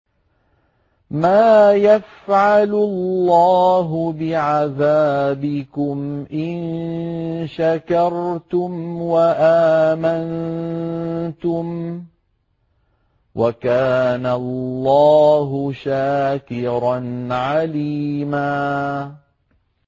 مَّا يَفْعَلُ اللَّهُ بِعَذَابِكُمْ إِن شَكَرْتُمْ وَآمَنتُمْ ۚ وَكَانَ اللَّهُ شَاكِرًا عَلِيمًا